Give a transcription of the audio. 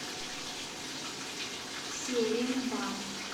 серембан